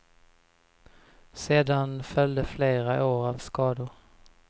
Sedan följde flera år av skador.